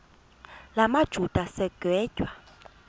la majuda sigwetywa